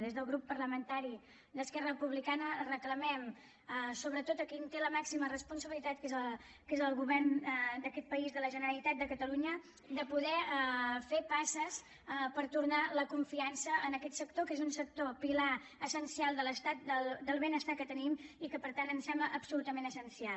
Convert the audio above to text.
des del grup parlamentari d’esquerra republicana reclamem sobretot a qui en té la màxima responsabilitat que és el govern d’aquest país de la generalitat de catalunya de poder fer passes per tornar la confiança a aquest sector que és un sector pilar essencial de l’estat del benestar que tenim i que per tant ens sembla absolutament essencial